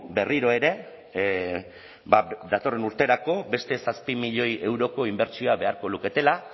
berriro ere ba datorren urterako beste zazpi milioi euroko inbertsioa beharko luketela